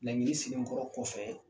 Laɲini silenkɔrɔ kɔfɛɛ